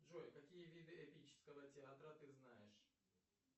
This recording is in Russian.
джой какие виды эпического театра ты знаешь